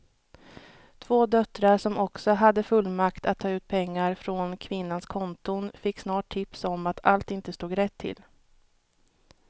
Två döttrar som också hade fullmakt att ta ut pengar från kvinnans konton fick snart tips om att allt inte stod rätt till.